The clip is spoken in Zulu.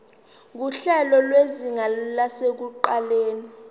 nguhlelo lwezinga lasekuqaleni